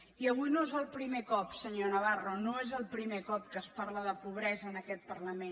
i avui no és el primer cop senyor navarro no és el primer cop que es parla de pobresa en aquest parlament